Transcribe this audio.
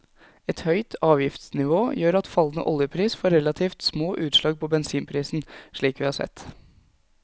Et høyt avgiftsnivå gjør at fallende oljepris får relativt små utslag på bensinprisen, slik vi har sett.